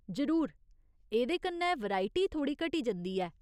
जरूर, एह्दे कन्नै वेरायटी थोह्ड़ी घटी जंदी ऐ।